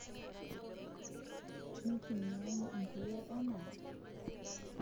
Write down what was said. Nitumiai inkulie enaa......